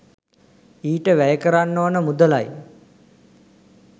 ඊට වැය කරන්න ඕන මුදලයි